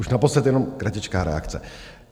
Už naposled, jenom kratičká reakce.